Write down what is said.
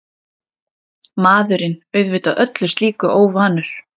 Maðurinn auðvitað öllu slíku óvanur.